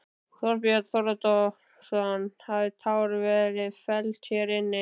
Þorbjörn Þórðarson: Hafa tár verið felld hér inni?